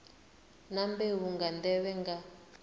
na mbeu nga nḓevhe nga